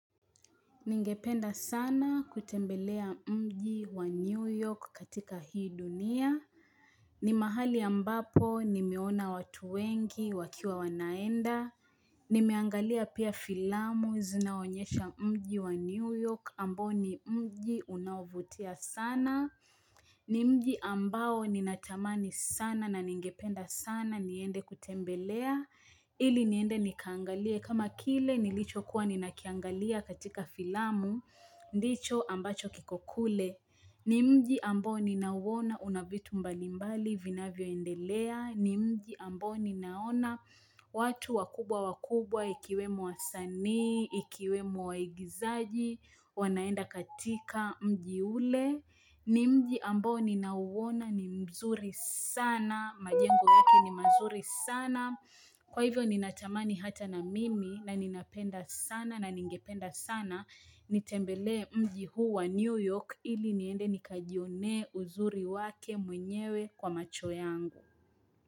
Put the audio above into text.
Ningependa sana kutembelea mji wa New York katika hii dunia ni mahali ambapo nimeona watu wengi wakiwa wanaenda Nimeangalia pia filamu zinaonyesha mji wa New York ambao ni mji unaovutia sana Nimji ambao ninatamani sana na ningependa sana niende kutembelea ili niende nikaangalie. Kama kile nilicho kuwa nina kiangalia katika filamu, ndicho ambacho kikokule. Nimji ambao ninauona, unavitu mbalimbali, vinavyoendelea. Nimji ambao ninaona, watu wakubwa wakubwa, ikiwemo wasanii, ikiwemo waigizaji, wanaenda katika mji ule. Ni mji ambao ninauona ni mzuri sana majengo yake ni mazuri sana kwa hivyo ninatamani hata na mimi na ninapenda sana na ningependa sana nitembelee mji huu wa New York ili niende nikajionee uzuri wake mwenyewe kwa macho yangu.